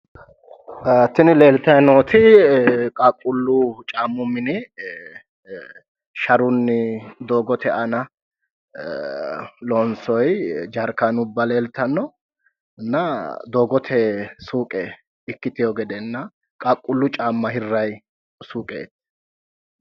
Tini leeltayi nooti qaaqquullu caammu mine sharunni doogote aana loonsoyi jarkeennubba leellishshannonna doogote suuqe ikkiteewo gedenna qaaqquullu caamma hirraayi suuqeeti